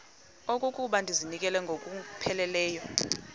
okokuba ndizinikele ngokupheleleyo